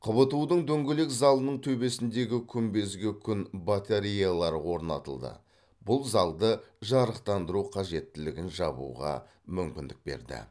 қбту дың дөңгелек залының төбесіндегі күмбезге күн батареялары орнатылды бұл залды жарықтандыру қажеттілігін жабуға мүмкіндік берді